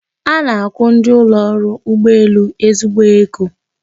A na-akwụ ndị ụlọ ọrụ ụgbọelu ezigbo ego